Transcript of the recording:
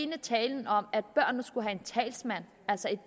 talen om at børnene skulle have en talsmand altså et